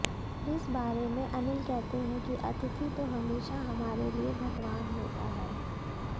इस बारे में अनिल कहते हैं कि अतिथि तो हमेशा हमारे लिए भगवान होता है